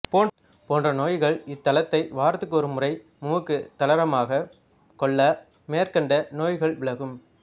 போன்ற நோய்கள் இதன் தைலத்தை வாரத்துக்கொருமுறை முமுக்குத் தலைரமாகக் கொள்ள மேற்கண்ட நோய்கள்விலகும்